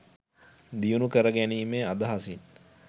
දියුණු කරගැනීමේ අදහසින්